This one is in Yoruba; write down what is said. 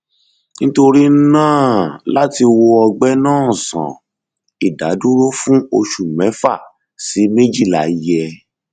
nítorí náà láti wo ọgbẹ náà sàn ìdádúró fún oṣù mẹfà sí méjìlá yẹ